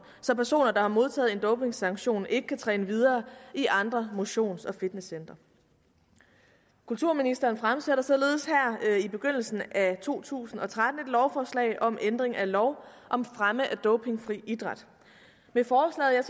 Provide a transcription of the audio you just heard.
så personer der har modtaget en dopingsanktion ikke kan træne videre i andre motions og fitnesscentre kulturministeren fremsætter således her i begyndelsen af to tusind og tretten et lovforslag om ændring af lov om fremme af dopingfri idræt med forslaget